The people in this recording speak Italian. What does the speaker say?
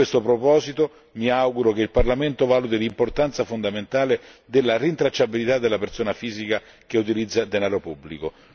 A questo proposito mi auguro che il Parlamento valuti l'importanza fondamentale della rintracciabilità della persona fisica che utilizza denaro pubblico.